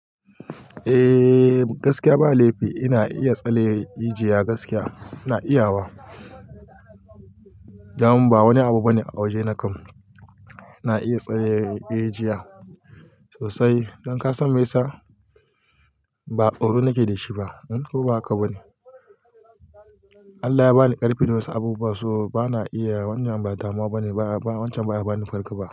Eh gaskiya ba laifi ina iya tsale ajiya gaskiya ina iya wa. Daman ba wani abu bane a waje na kam, ina iya tsaye rijiya sosai. Don ka san me yasa? Ba tsoro nake da shi ba, ko ba haka bane? Allah ya bani ƙarfi da wasu abubuwa, so bana iya wannan ba damuwa bane ba wancan baya bani farko ba.